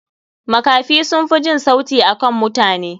Makafi sunfi jin sauti akan mutane.